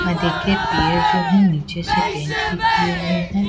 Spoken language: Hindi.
और देखिए पेड़ जो है नीचे से पेंट भी किए हुए--